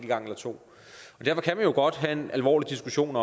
gang eller to og derfor kan vi godt have en alvorlig diskussion